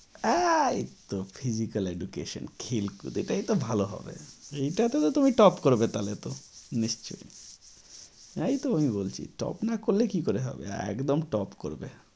এই তো physical education এটাই তো ভালো হবে। এইটাতে তো তুমি top করবে তাহলে তো নিশ্চই? তাই তো আমি বলছি top না করলে কি করে হবে একদম top করবে।